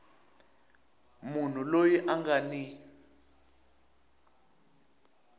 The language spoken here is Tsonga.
munhu loyi a nga ni